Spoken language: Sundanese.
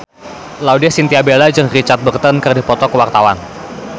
Laudya Chintya Bella jeung Richard Burton keur dipoto ku wartawan